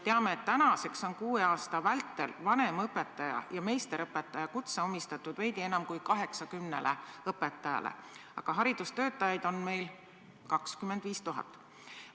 Teame, et tänaseks on kuue aasta vältel vanemõpetaja ja meisterõpetaja kutse antud veidi enam kui 90 õpetajale, aga haridustöötajaid on meil 25 000.